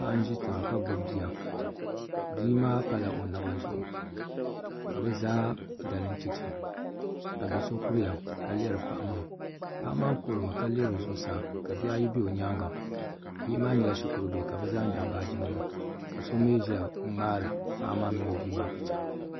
Paɣa n ʒi tiŋa ka gbubi bia bia maa pala o naba zuɣu ka bi zaa dalim chɛchɛ ka do so kuriya ka lihiri paɣa maa paɣa maa kuhurimi ka lihiri zuɣusaa ka bihi ayi bɛ bi nyaanga bihi maa nyɛla shikuru bihi ka nyaɣa baaji nima ka so mii ʒiya n ŋmaari paɣa maa mini o bia maa picha